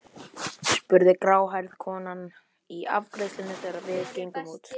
spurði gráhærða konan í afgreiðslunni þegar við gengum út.